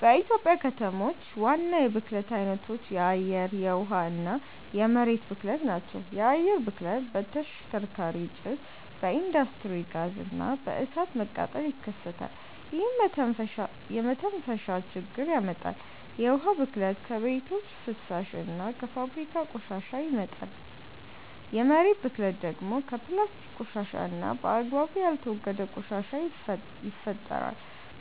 በኢትዮጵያ ከተሞች ዋና የብክለት አይነቶች የአየር፣ የውሃ እና የመሬት ብክለት ናቸው። የአየር ብክለት በተሽከርካሪ ጭስ፣ በኢንዱስትሪ ጋዝ እና በእሳት መቃጠል ይከሰታል፣ ይህም የመተንፈሻ ችግር ያመጣል። የውሃ ብክለት ከቤቶች ፍሳሽ እና ከፋብሪካ ቆሻሻ ይመጣል። የመሬት ብክለት ደግሞ በፕላስቲክ ቆሻሻ እና በአግባቡ ያልተወገደ ቆሻሻ ይፈጠራል።